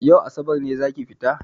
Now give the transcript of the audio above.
Yau asabar ne zaki fita?